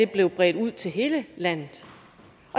blev bredt ud til hele landet